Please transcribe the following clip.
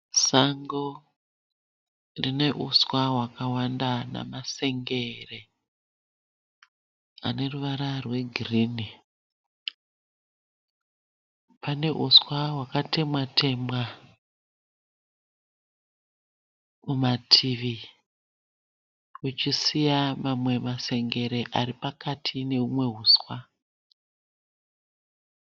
Sango rine uswa rwakawanda namasengere ane ruvara rwegirini. Pane huswa hwakatemwa-temwa kumativi kuchisiya mamwe masengere ari pakati nehumwe huswa.